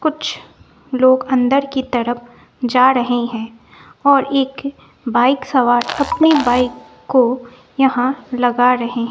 कुछ लोग अंदर की तरफ जा रहे हैं और एक बाइक सवार अपनी बाइक को यहां लगा रहे--